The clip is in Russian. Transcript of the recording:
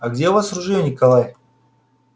а где у вас ружье николай